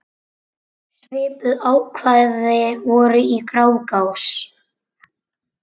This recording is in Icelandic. Svipuð ákvæði voru í Grágás.